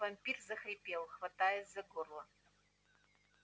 вампир захрипел хватаясь за горло